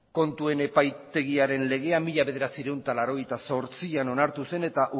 kontuen epaitegiaren legean mila bederatziehun eta laurogeita zortzian onartu zen eta